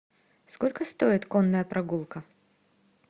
сколько стоит конная прогулка